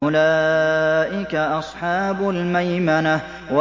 أُولَٰئِكَ أَصْحَابُ الْمَيْمَنَةِ